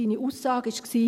Seine Aussage war: